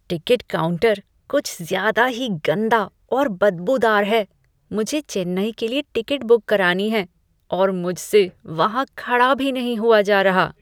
Ticket counter कुछ ज़्यादा ही गंदा और बदबूदार है। मुझे चेन्नई के लिए टिकट बुक करानी है और मुझसे वहां खड़ा भी नहीं हुआ जा रहा।